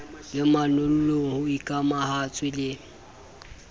le manollong ho ikamahantswe le